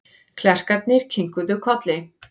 Klerkarnir kinkuðu kolli.